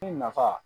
Ni nafa